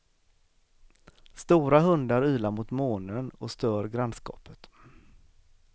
Stora hundar ylar mot månen och stör grannskapet.